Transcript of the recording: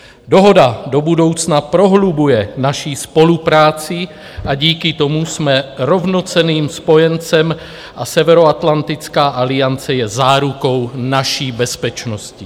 Dohoda do budoucna prohlubuje naši spolupráci a díky tomu jsme rovnocenným spojencem a Severoatlantická aliance je zárukou naší bezpečnosti.